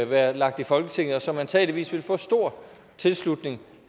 være lagt i folketinget og som antageligvis ville få stor tilslutning